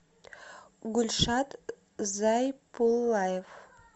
гульшат зайпулаев